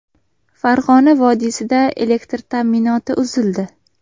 Farg‘ona vodiysida elektr ta’minoti uzildi .